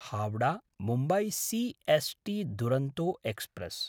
हावडा–मुम्बय् C S T Duronto express